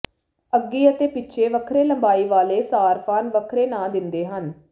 ਅੱਗੇ ਅਤੇ ਪਿੱਛੇ ਵੱਖਰੇ ਲੰਬਾਈ ਵਾਲੇ ਸਾਰਫਾਨ ਵੱਖਰੇ ਨਾਂ ਦਿੰਦੇ ਹਨ